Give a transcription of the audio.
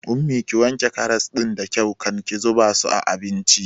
Ummi, ki wanke karas ɗin da kyau kan ki zuba su a abincin!